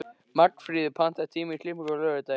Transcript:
Magnfríður, pantaðu tíma í klippingu á laugardaginn.